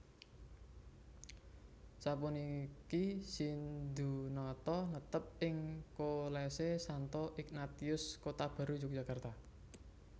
Sapuniki Sindhunata netep ing Kolese Santo Ignatius Kotabaru Yogyakarta